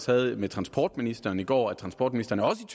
havde med transportministeren i går at transportministeren også